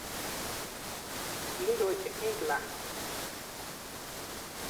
kiindochi England.